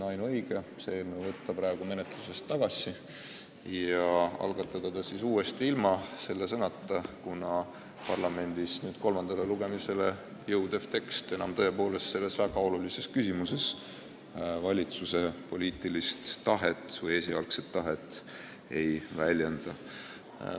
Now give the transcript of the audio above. Ainuõige on eelnõu praegu menetlusest tagasi võtta ja algatada see siis uuesti ilma selle sõnata, kuna parlamendis kolmandale lugemisele jõudev tekst tõepoolest selles väga olulises küsimuses valitsuse poliitilist või esialgset tahet enam ei väljenda.